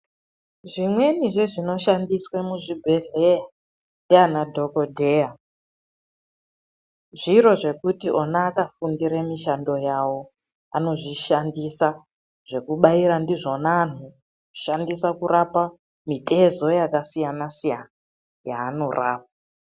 Zvimweni zvezvinoshandiswa muzvibhedhlera ndeana dhokodheya zviro zvekuti ona akafundire mishando yawo anozvishandisa zvekubaira ndizvona anhu, kushandise kurapa mitezo yakasiyana siyana yeanorapa.